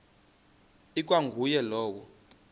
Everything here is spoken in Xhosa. ikwa nguye lowo